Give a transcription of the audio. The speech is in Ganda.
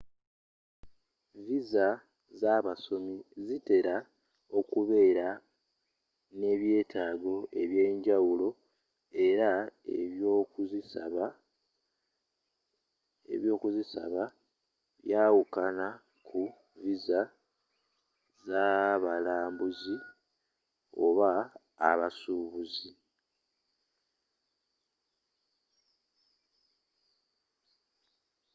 viza z'abasomi zitera okubeera n'ebyetaago ebyenjawulo era ebyokuzisaba byawukana ku viza z'abalambuzi oba abasuubuzi